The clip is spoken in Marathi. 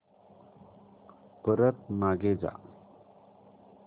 परत मागे जा